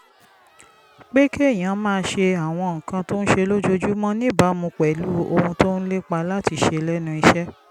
pé kéèyàn máa ṣe àwọn nǹkan tó ń ṣe lójoojúmọ́ níbàámu pẹ̀lú ohun tó ń lépa láti ṣe lẹ́nu iṣẹ́